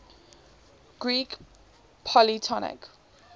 greek polytonic